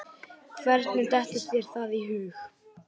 Hvernig dettur þér það í hug?